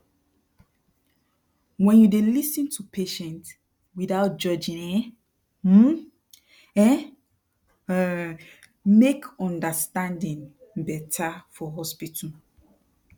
wen you dey lis ten to patient without judging e um e um make understanding beta for hospital